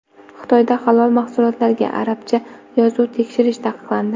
Xitoyda halol mahsulotlarga arabcha yozuv tushirish taqiqlandi.